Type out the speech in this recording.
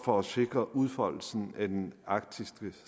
for at sikre udfoldelsen af den arktiske